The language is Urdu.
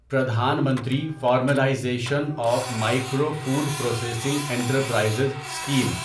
Pradhan Mantri formalisation of micro food processing enterprises scheme